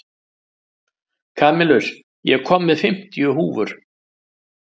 Kamilus, ég kom með fimmtíu húfur!